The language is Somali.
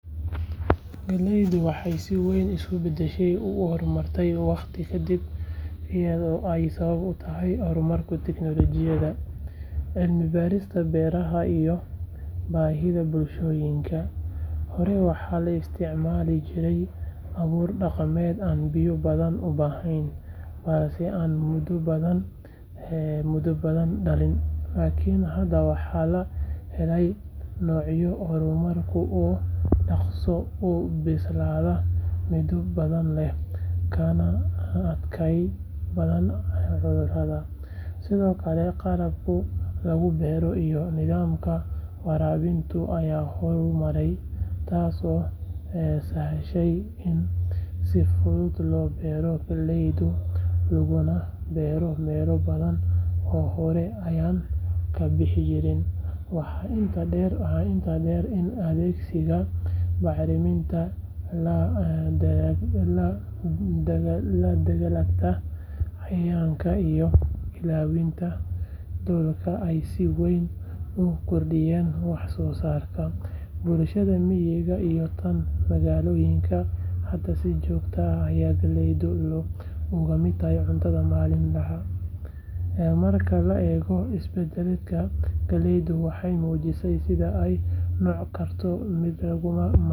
Galleydu waxay si weyn isu beddeshay oo u horumartay waqti ka dib iyadoo ay sabab u tahay horumarka tiknoolajiyadda, cilmi baarista beeraha iyo baahida bulshooyinka. Hore waxaa la isticmaali jiray abuur dhaqameed aan biyo badan u baahnayn balse aan midho badan dhalin, Laakiin hadda waxaa la helay noocyo horumarsan oo dhaqso u bislaado, midho badan leh, kana adkaysi badan cudurrada. Sidoo kale qalabka lagu beero iyo nidaamka waraabinta ayaa horumaray, taasoo sahashay in si fudud loo beero galleyda laguna beero meelo badan oo hore aanay ka bixi jirin. Waxaa intaa dheer in adeegsiga bacrimintu, la dagaallanka cayayaanka iyo ilaalinta dhulka ay si weyn u kordhiyeen wax soo saarka. Bulshada miyiga iyo tan magaalooyinkaba hadda si joogto ah ayay galleyda uga mid tahay cuntada maalinlaha ah. Marka la eego isbedelkaas, galleyda waxay muujisay sida ay u noqon karto mid lagama maarmaan.